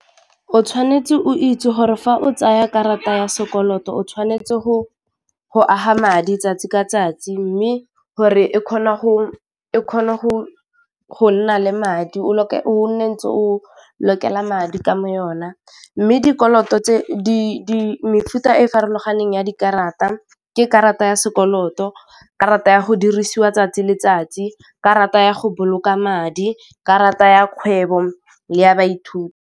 O tshwanetse o itse gore fa o tsaya karata ya sekoloto, o tshwanetse go go aga madi 'tsatsi ka 'tsatsi mme gore e kgona go nna le madi o o ntse o lokela madi ka mo yona mme, dikoloto tse di mefuta e farologaneng ya dikarata, ke karata ya sekoloto, karata ya go dirisiwa 'tsatsi le letsatsi, karata ya go boloka mad, i karata ya kgwebo le ya baithuti.